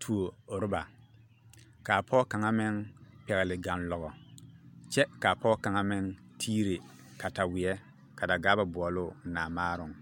tuo roŋba ka pɔge kang meŋ pɛle gaŋloŋe kyɛ kaa pɔge kang meŋ tiire kataweɛ ka Dagaaba booluu naamaaroŋ.